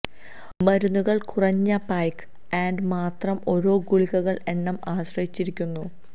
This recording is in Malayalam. മരുന്നുകൾ കുറഞ്ഞ പായ്ക്ക് ആൻഡ് മാത്ര ഓരോ ഗുളികകൾ എണ്ണം ആശ്രയിച്ചിരിക്കുന്നു